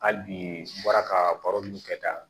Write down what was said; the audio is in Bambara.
Hali bi n bɔra ka baro kɛ tan